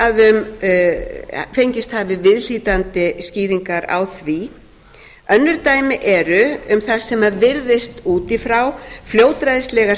án þess að fengist hafi viðhlítandi skýringar á því önnur dæmi eru um það sem virðist út í frá fljótræðisleg skipanir